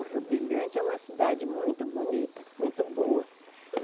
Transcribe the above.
O Rio Brilhante é uma cidade muito bonita, muito boa.